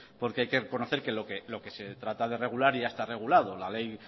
porque hay que reconocer que lo que se trata de regular ya está regulado la ley